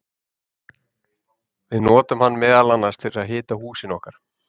Við notum hann meðal annars til að hita húsin okkar!